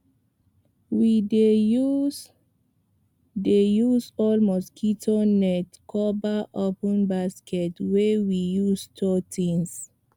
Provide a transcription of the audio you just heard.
we dey use dey use old mosquito net cover open basket wey we use store things